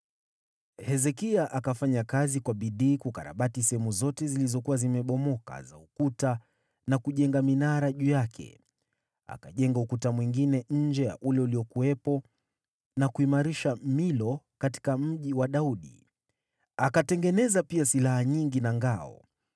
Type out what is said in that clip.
Hezekia akafanya kazi kwa bidii kukarabati sehemu zote zilizokuwa zimebomoka za ukuta na kujenga minara juu yake. Akajenga ukuta mwingine nje ya ule uliokuwepo na kuimarisha Milo katika Mji wa Daudi. Akatengeneza pia silaha nyingi na ngao.